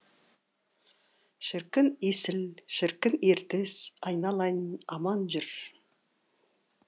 шіркін есіл шіркін ертіс айналайын аман жүр